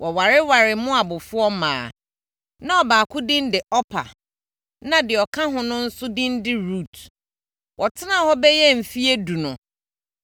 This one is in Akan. Wɔwarewaree Moabfoɔ mmaa. Na ɔbaako din de Orpa na deɛ ɔka ho no nso din de Rut. Wɔtenaa hɔ bɛyɛ sɛ mfeɛ edu no,